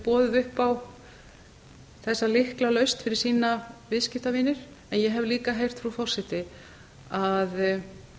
boðið upp á þessa lyklalausn fyrir sína viðskiptavini en ég hef líka heyrt frú forseti að